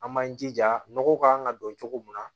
An b'an jija nɔgɔ kan ka don cogo min na